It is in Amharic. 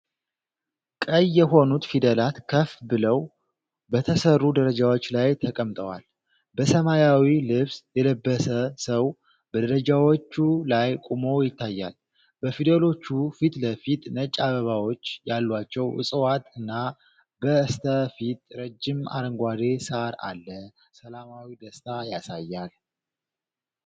ቀይ የሆኑት ፊደላት ከፍ ብለው በተሠሩ ደረጃዎች ላይ ተቀምጠዋል። በሰማያዊ ልብስ የለበሰ ሰው በደረጃዎቹ ላይ ቆሞ ይታያል። በፊደሎቹ ፊትለፊት ነጭ አበባዎች ያሏቸው ዕፅዋት እና በስተፊት ረጅም አረንጓዴ ሳር አለ። ሰላማዊ ደስታ ያሳያል።